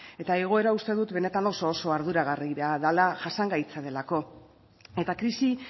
eta igoera uste dut benetan oso oso arduragarria dela jasangaitza delako eta krisi